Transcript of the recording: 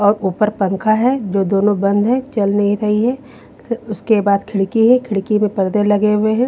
और ऊपर पंखा है जो दोनों बंद है चल नहीं रही है उसके बाद खिड़की है खिड़की मे पर्दे लगे हुए है।